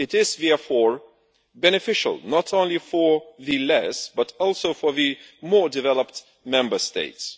It is therefore beneficial not only for the less, but also for the more, developed Member States.